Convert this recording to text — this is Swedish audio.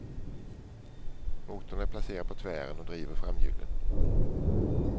Motorn är placerad på tvären och driver framhjulen.